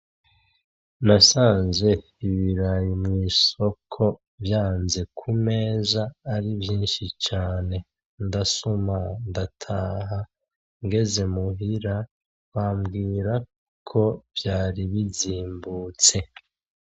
Nasanze ibirayi mu isoko vyanze ku meza ari vyishi cane ndusama ndataha ngeze mu hira bambwira ko vyari bizimbutse.